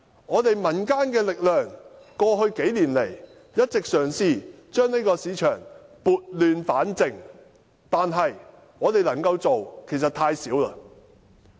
過去幾年來，我們民間的力量一直嘗試將這個市場撥亂反正，但我們可以做到的其實太少。